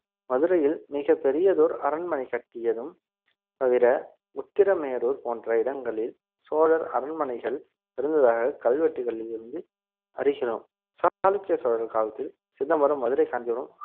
மதுரையில் மிகப் பெரியதோர் அரண்மனை கட்டியதும் தவிர உத்திரமேரூர் போன்ற இடங்களில் சோழர் அரண்மனைகள் இருந்ததாக கல்வெட்டுகளில் இருந்து அறிகிறோம் சாளுக்கிய சோழன் காலத்தில் சிதம்பரம் மதுரை காஞ்சிபுரம்